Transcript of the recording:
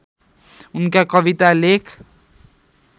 उनका कविता लेख